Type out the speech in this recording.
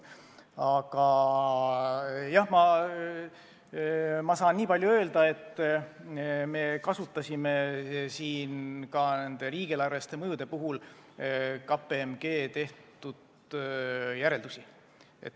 Aga nüüd ma saan nii palju öelda, et me kasutasime ka riigieelarvelise mõju pakkumisel KPMG tehtud järeldusi.